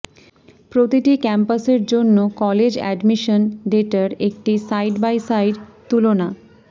প্রতিটি ক্যাম্পাসের জন্য কলেজ অ্যাডমিশন ডেটার একটি সাইড বাই সাইড তুলনা